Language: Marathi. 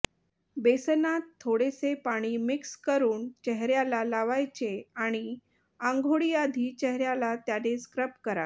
बेसनात थोडेसे पाणी मिक्स करुन चेहऱ्याला लावायचे आणि आंघोळीआधी चेहऱ्याला त्याने स्क्रब करावे